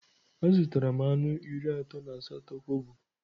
Azụtara m anụ iri atọ na asatọ kobo.